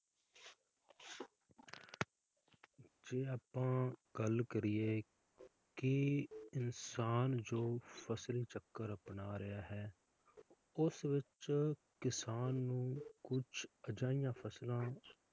ਜੇ ਆਪਾਂ ਗੱਲ ਕਰੀਏ ਕਿ ਇਨਸਾਨ ਜੋ ਫਸਲ ਚੱਕਰ ਆਪਣਾ ਰਿਹਾ ਹੈ, ਉਸ ਵਿਚ ਕਿਸਾਨ ਨੂੰ ਕੁਛ ਅਜਿਹੀਆਂ ਫਸਲਾਂ